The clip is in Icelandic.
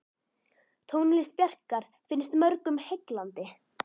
Tónlist Bjarkar finnst mörgum heillandi.